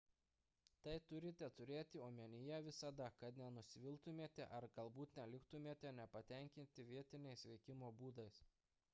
tai turite turėti omenyje visada kad nenusiviltumėte ar galbūt neliktumėte nepatenkinti vietiniais veikimo būdais